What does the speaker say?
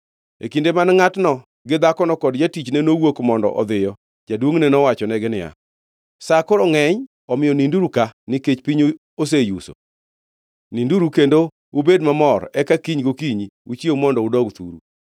E kinde ma ngʼatno gi dhakono kod jatichne nowuok mondo odhiyo, jaduongʼne nowachonegi niya, “Sa koro ngʼeny, omiyo ninduru ka nikech piny oseyuso. Ninduru kendo ubed mamor eka kiny gokinyi uchiew mondo udog thuru.”